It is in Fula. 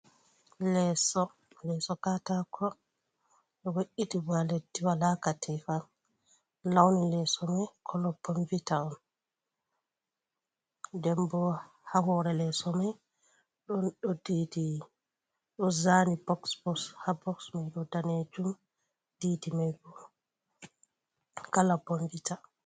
Leeso leeso kaatako ɗo we’itigo ha leddi wala katifa, launi leeso mai koolo boonvita on. Nden bo ha hoore leeso mai ɗon ɗo dedi ɗo zaani boks boks ha boks mai ɗo danejum didi mai bo kaala bonvita.